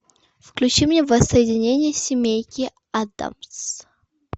включи мне воссоединение семейки адамс